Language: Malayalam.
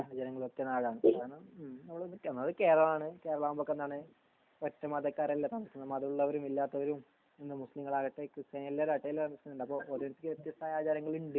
നാടാണ് കാരണം അത് കേരളം ആണ് കേരളവുമ്പോ എന്താണ് ഒറ്റ മത ക്കാരല്ല താമസിക്കണേ മതള്ളോരും ഇല്ലതോരും എന്താ മുസ്ലിം കളാകട്ടെ കൃസ്ത്യാനി എല്ലാരും ആകട്ടെ എല്ലാരും താമസിക്കണ്ട് വ്യത്യസ്തയ ആചാരങ്ങള്ണ്ട്